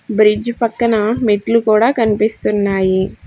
Bridge పక్కన మెట్లు కూడా కనిపిస్తున్నాయి.